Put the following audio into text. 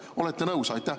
Olete nõus?